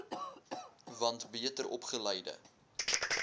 want beter opgeleide